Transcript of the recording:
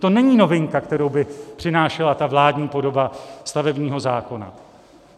To není novinka, kterou by přinášela ta vládní podoba stavebního zákona.